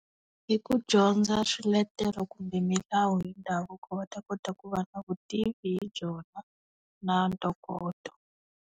Hi ku dyondza swiletelo kumbe milawu hi ndhavuko va ta kota ku va na vutivi hi byona na ntokoto.